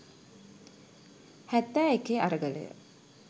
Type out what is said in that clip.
හැත්තෑ එකේ අරගලය